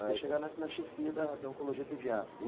Até chegar na chefia da da Oncologia Pediátrica, é isso?